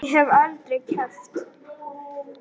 Ég hef aldrei keppt.